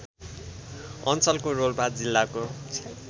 अञ्चलको रोल्पा जिल्लाको